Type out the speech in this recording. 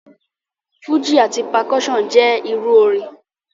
Fúji ati percussion jẹ iru orin.